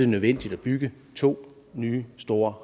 nødvendigt at bygge to nye store